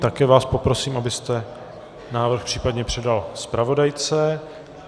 Také vás poprosím, abyste návrh případně předal zpravodajce.